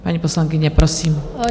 Paní poslankyně, prosím.